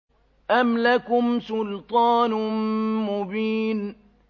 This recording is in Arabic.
أَمْ لَكُمْ سُلْطَانٌ مُّبِينٌ